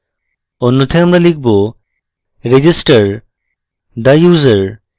অন্যথায় আমরা লিখব register the user